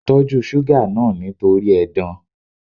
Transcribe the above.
Tọ́jú suga náà nítorí edan.